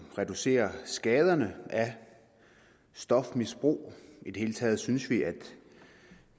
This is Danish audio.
reducerer skaderne af stofmisbrug i det hele taget synes